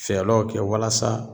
Fɛlɔw kɛ walasa